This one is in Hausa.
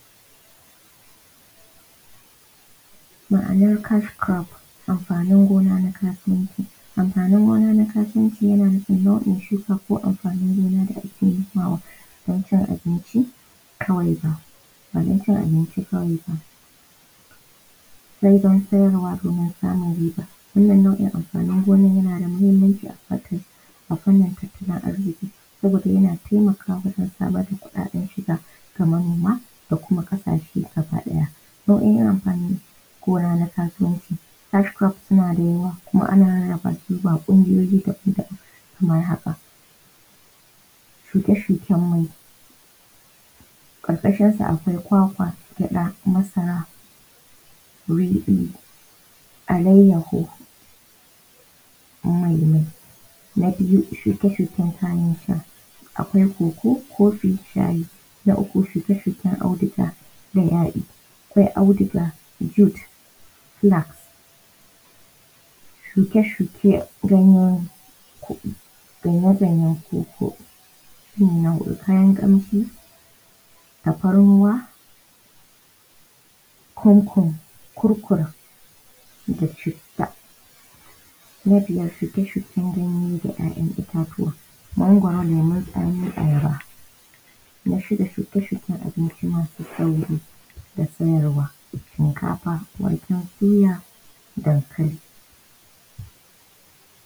Ma’anar kaskurof amfanin gona na kasuwanci. Amfanin gona na kasuwan yana na’in shuka ko amfanin gona da ake da ake nomawa ba cin abinci kawai ba badan cin abinci kawai ba said an sayarwa domin samun riba wannan nau’in amfanin gonan yanada mahimmaci a fanin tattalin arziƙi saboda yana taimakawa wajen samar da kuɗaɗen shiga Kaman da kuma ƙasashe gaba ɗaya. Nau’oin amfanin gona na kasuwanci suna da yawa kuma ana rarrabasu zuwa ƙungiyoyi daban daban kamar haka. Shuke shuken mai ƙarƙashin sa akawi kwakwa, gyaɗa, masara, riɗi, alayyaho,. Na biyu shuke shuken kayan sha akwai koko, kofi, shayi. Na uku shuke shuke auduga da yayi akwai auduga silak. Shuke shuke ganye koko. Sannan kayan kamshi tafarnuwa, kurkur da citta. Na biyar shuke shken ganye da kayan ittatuwa magwaro, lemon tsami, ayaba. Na shida shuke shuken abici mafi sauƙi da sayarwa shinkafa, waken soya, dankali.